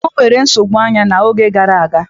Ọ na-enwebu nsogbu anya n'oge gara aga.